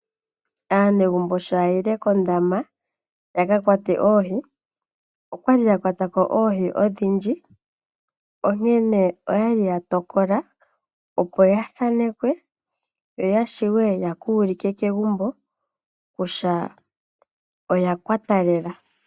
Aanegumbo sho ya yile kondama ya ka kwate oohi okwali ya kwata ko oohi odhindji, onkene oya li ya tokola opo ya thanekwe. Yo ya wape ya ka ulike kegumbo ku tya oya kwata lela.